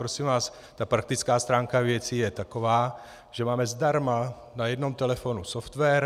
Prosím vás, ta praktická stránka věci je taková, že máme zdarma na jednom telefonu software.